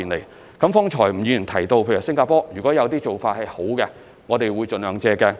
吳議員剛才提到新加坡的一些良好做法，我們會盡量借鏡。